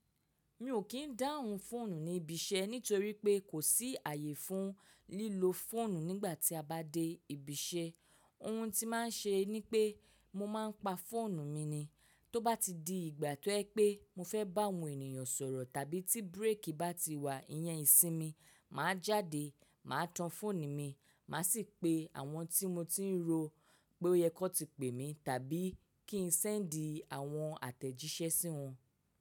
Mi ò kí n dáhùn fóònù ní ibi iṣẹ́ nítorí pé kò sí ààyè fún lílo fóònù nígbà tí a bá dé ibi iṣẹ́. Ohun tí má a n ṣe ni pé mo má a pa fóònù mi ni. Tóbá ti di ìgbà tó jẹ pé mo fẹ́ bá àwọn ènìyàn sọ̀rọ̀ tàbí tí bírèkì bá ti wà, ìyẹn ìsinmi, mà á jáde, mà á tan fóònù mi, mà á sì pe àwọn tí mo ti n ro pé ó yẹ kó ti pè mi tàbí kí n sẹ́ẹ̀ńdì àwọn àtẹ̀jíṣẹ́ sí wọn.